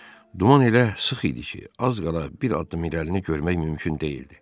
Duman elə sıx idi ki, az qala bir addım irəlini görmək mümkün deyildi.